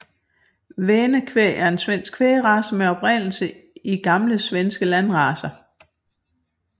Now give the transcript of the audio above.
Väne kvæg er en svensk kvægrace med oprindelse i gamle svenske landracer